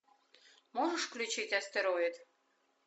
можешь включить астероид